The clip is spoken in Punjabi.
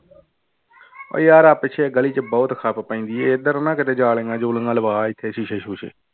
ਯਾਰ ਆਹ ਪਿੱਛੇ ਗਲੀ ਚ ਬਹੁਤ ਖੱਪ ਪੈਂਦੀ ਹੈ ਇੱਧਰ ਨਾ ਕਿਤੇ ਜਾਲੀਆਂ ਜੂਲੀਆਂ ਲਵਾ ਇੱਥੇ ਸ਼ੀਸ਼ੇ ਸ਼ੂਸ਼ੇ।